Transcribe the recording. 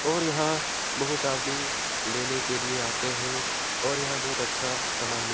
और यहाँ बहुत आदमी लेने के लिए आते हैं और यहाँ बहुत अच्छा समान मिल --